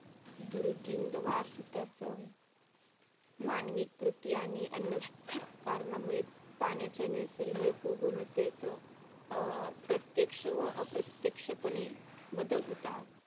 दुर्गंध वास येतो असं मानवी कृती आणि अन्य कारणामुळे पाण्याच्या नैसर्गिक गुणवत्तेत प्रत्यक्ष व अप्रत्यक्षपणे बदल होतात.